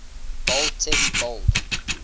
bold text bold